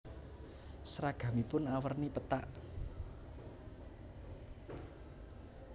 Seragamipun awerni pethak